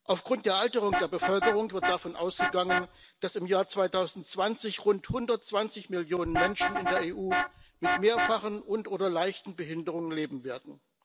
Aufgrund der Alterung der Bevölkerung wird davon ausgegangen, dass im Jahr 2020 rund 120 Millionen Menschen in der EU mit mehrfachen und oder leichten Behinderungen leben werden.